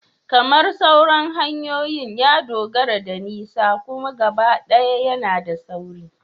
Kamar sauran hanyoyin, ya dogara da nisa amma gabaɗaya yana da sauri